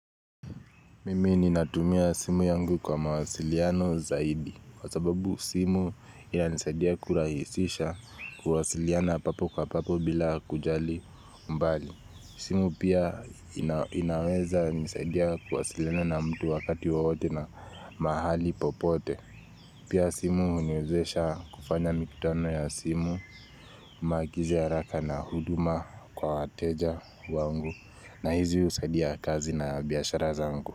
Mimi ni natumia simu yangu kwa mawasiliano zaidi Kwa sababu simu ina nisaidia kurahisisha ku wasiliana papo kwa papo bila kujali mbali simu pia inaweza nisaidia kuwa siliana na mtu wakati wowote na mahali popote Pia simu huniwezesha kufanya mikutano ya simu makizi ya haraka na huduma kwa wateja wangu na hizi husadia kazi na biashara zangu.